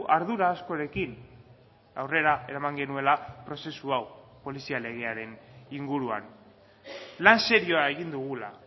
ardura askorekin aurrera eraman genuela prozesu hau polizia legearen inguruan lan serioa egin dugula